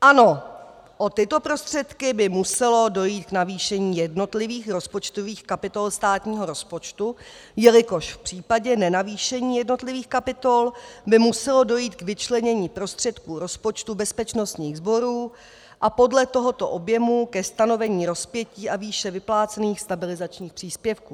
Ano, o tyto prostředky by muselo dojít k navýšení jednotlivých rozpočtových kapitol státního rozpočtu, jelikož v případě nenavýšení jednotlivých kapitol by muselo dojít k vyčlenění prostředků rozpočtu bezpečnostních sborů a podle tohoto objemu ke stanovení rozpětí a výše vyplácených stabilizačních příspěvků.